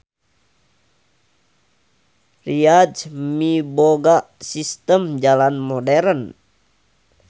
Riyadh miboga sistem jalan moderen.